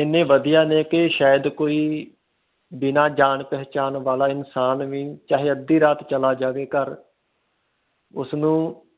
ਹਨ ਵਧੀਆ ਨੇ ਕੇ ਸ਼ਇਦ ਕੋਈ ਬਿਨਾ ਜਾਨ ਪਹਿਚਾਣ ਵਾਲਾ ਇਨਸਾਨ ਵੀ ਚਾਹੇ ਅੱਧੀ ਰਾਤ ਚਲਾ ਜਾਵੇ ਘਰ ਉਸ ਨੂੰ